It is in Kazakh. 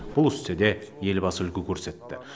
бұл істе де елбасы үлгі көрсетті